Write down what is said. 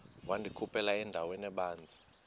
wandikhuphela endaweni ebanzi